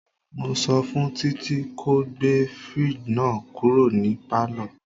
Mo sọ fún Títí ko gbé fridge náà kúrò ní palo.